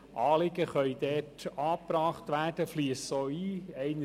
Dort können Anliegen angebracht werden und fliessen auch ein.